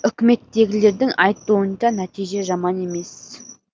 үкіметтегілердің айтуынша нәтиже жаман емес